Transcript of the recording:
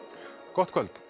gott kvöld